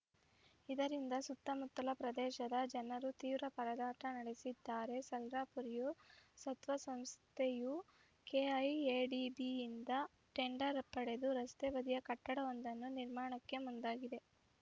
ಇದರಿಂದ ಸುತ್ತಮುತ್ತಲ ಪ್ರದೇಶದ ಜನರು ತೀವ್ರ ಪರದಾಟ ನಡೆಸಿದ್ದಾರೆ ಸಾಲಾರ್‌ ಪುರಿಯಾ ಸತ್ವ ಸಂಸ್ಥೆಯು ಕೆಐಎಡಿಬಿಯಿಂದ ಟೆಂಡರ್‌ ಪಡೆದು ರಸ್ತೆ ಬದಿ ಕಟ್ಟಡವೊಂದನ್ನು ನಿರ್ಮಾಣಕ್ಕೆ ಮುಂದಾಗಿದೆ